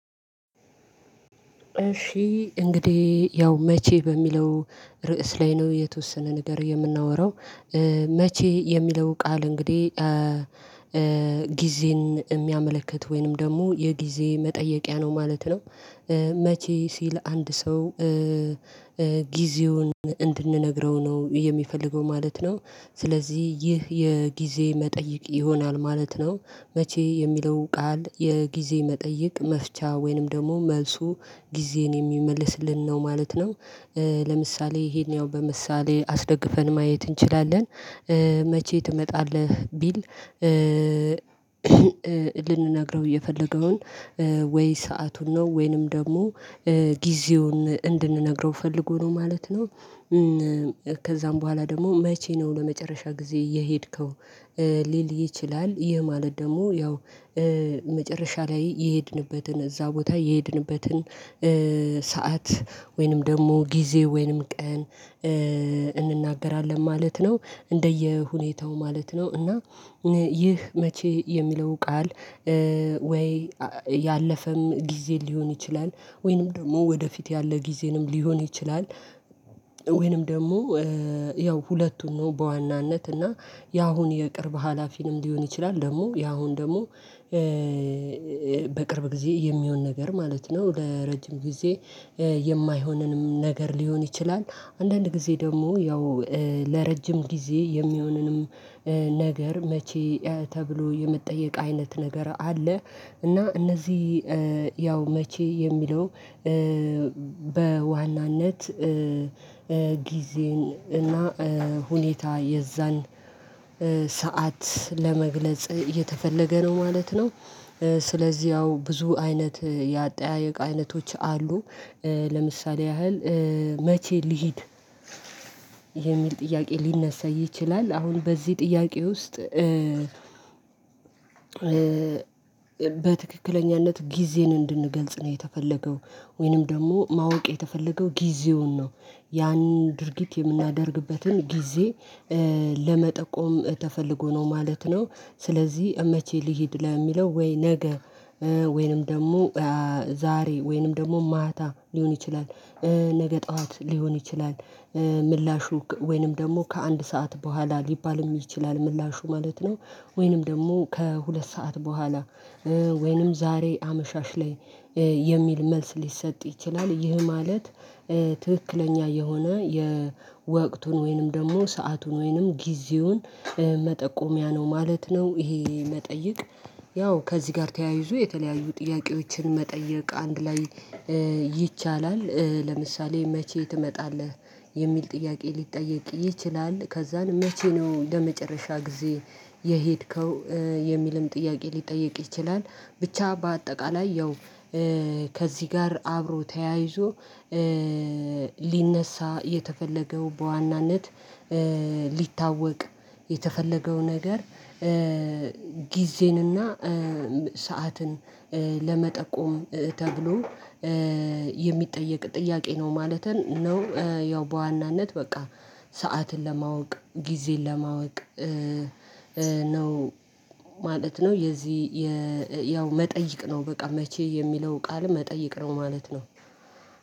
እሺ እንግዲህ ያው መቼ በሚለው ርዕስ ላይ ነው የተወሰነ ነገር የምናወራው መቼ የሚለው ቃል እንግዲህ ጊዜን እሚያመለክት ወይንም ደግሞ የጊዜ መጠየቂያ ነው ማለት ነው። መቼ ሲል አንድ ሰው ጊዜውን እንድንነግረው ነው የሚፈልገው ማለት ነው። ስለዚህ ይህ የጊዜ መጠይቅ ይሆናል ማለት ነው። መቼ የሚለው ቃል የጊዜ መጠይቅ መፍቻ ወይንም ደግሞ መልሱ ጊዜን የሚመልስልን ነው ማለት ነው። ለምሳሌ ይሄን ያው በምሳሌ አስደግፈን ማየት እንችላለን። መቼ ትመጣለህ ቢል ልንነግረው የፈለገውን ወይ ሰአቱን ነው ወይንም ደግሞ ጊዜውን እንድንነግረው ፈልጎ ነው ማለት ነው። ከዛም በኋላ ደግሞ መቼ ነው ለመጨረሻ ጊዜ የሄድከው ሊል ይችላል ይህ ማለት ደግሞ ያው መጨረሻ ላይ የሄድንበትን እዛ ቦታ የሄድንበትን ሰዓት ወይንም ደግሞ ጊዜ ወይንም ቀን እንናገራለን ማለት ነው እንደየሁኔታው ማለት ነው። እና ይህ መቼ የሚለው ቃል ወይ ያለፈም ጊዜ ሊሆን ይችላል ወይንም ደግሞ ወደፊት ያለ ጊዜንም ሊሆን ይችላል። ወይንም ደግሞ ያው ሁለቱን ነው በዋናነት እና ያሁን የቅርብ ሀላፊንም ሊሆን ይችላል ደግሞ ያሁን ደግሞ በቅርብ ጊዜ የሚሆን ነገር ማለት ነው። ለረጅም ጊዜ የማይሆነንም ነገር ሊሆን ይችላል አንዳንድ ጊዜ ደግሞ ያው ለረጅም ጊዜ የሚሆነንም ነገር መቼ ተብሎ የመጠየቅ አይነት ነገር አለ። እና እነዚህ ያው መቼ የሚለው በዋናነት ጊዜን እና ሁኔታ የዛን ሰዓት ለመግለጽ እየተፈለገ ነው ማለት ነው። ስለዚህ ያው ብዙ አይነት የአጠያየቅ አይነቶች አሉ። ለምሳሌ ያህል መቼ ልሂድ የሚል ጥያቄ ሊነሳ ይችላል። አሁን በዚህ ጥያቄ ውስጥ በትክክለኛነት ጊዜን እንድንገልጽ ነው የተፈለገው ወይንም ደግሞ ማወቅ የተፈለገው ጊዜውን ነው። ያንን ድርጊት የምናደርግበትን ጊዜ ለመጠቆም ተፈልጎ ነው ማለት ነው። ስለዚህ መቼ ልሂድ ለሚለው ወይ ነገ ወይንም ደግሞ ዛሬ ወይንም ደግሞ ማታ ሊሆን ይችላል ነገ ጠዋት ሊሆን ይችላል። ምላሹ ከ ወይንም ደግሞ ከአንድ ሰዓት በኋላ ሊባልም ይችላል ምላሹ ማለት ነው። ወይንም ደግሞ ከሁለት ሰዓት በኋላ ወይንም ዛሬ አመሻሽ ላይ የሚል መልስ ሊሰጥ ይችላል ይህ ማለት ትክክለኛ የሆነ የወቅቱን ወይንም ደግሞ ሰአቱን ወይንም ጊዜውን መጠቆሚያ ነው ማለት ነው። ይሄ መጠይቅ ያው ከዚህ ጋር ተያይዞ የተለያዩ ጥያቄዎችን መጠየቅ አንድ ላይ ይቻላል። ለምሳሌ መቼ ትመጣለህ የሚል ጥያቄ ሊጠየቅ ይችላል። ከዛን መቼ ነው ለመጨረሻ ጊዜ የሄድከው የሚልም ጥያቄ ሊጠየቅ ይችላል። ብቻ በአጠቃላይ ያው ከዚህ ጋር አብሮ ተያይዞ ሊነሳ የተፈለገው በዋናነት ሊታወቅ የተፈለገው ነገር ጊዜን እና ሰዓትን ለመጠቆም ተብሎ የሚጠየቅ ጥያቄ ነው ማለትን ነው ያው በዋናነት በቃ ሰዓትን ለማወቅ ጊዜን ለማወቅ ነው ማለት ነው። የዚህ የ ያው መጠይቅ ነው በቃ መቼ የሚለው ቃል መጠይቅ ነው ማለት ነው።